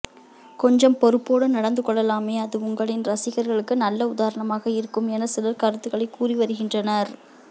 கொஞ்சம் பொறுப்போடு நடந்து கொள்ளலாமே அது உங்களின் ரசிகர்களுக்கு நல்ல உதாரணமாக இருக்கும் என சிலர் கருத்துகளை கூறி வருகின்றனர்